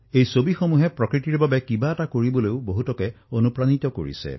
এই ছবিসমূহে জনসাধাৰণক প্ৰকৃতিৰ বাবে কিছু কাম কৰাৰ প্ৰেৰণা দিছে